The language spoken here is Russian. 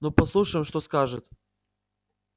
ну послушаем что скажет